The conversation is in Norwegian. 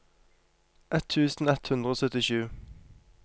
ett tusen ett hundre og syttisju